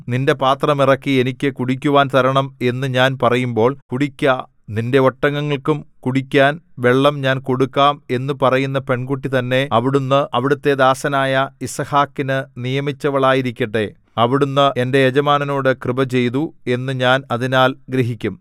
നിന്റെ പാത്രം ഇറക്കി എനിക്ക് കുടിക്കുവാൻ തരണം എന്നു ഞാൻ പറയുമ്പോൾ കുടിക്ക നിന്റെ ഒട്ടകങ്ങൾക്കും കുടിക്കാൻ വെള്ളം ഞാൻ കൊടുക്കാം എന്നു പറയുന്ന പെൺകുട്ടി തന്നെ അവിടുന്ന് അവിടുത്തെ ദാസനായ യിസ്ഹാക്കിന് നിയമിച്ചവളായിരിക്കട്ടെ അവിടുന്ന് എന്റെ യജമാനനോട് കൃപ ചെയ്തു എന്നു ഞാൻ അതിനാൽ ഗ്രഹിക്കും